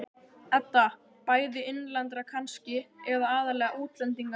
Edda: Bæði innlendra kannski, eða aðallega útlendinganna?